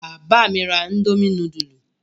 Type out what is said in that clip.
Bàbá mi ra indomie núdúlù?